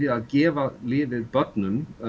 að gefa lyfið börnum